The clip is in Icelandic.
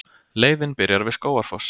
Leiðin byrjar við Skógafoss.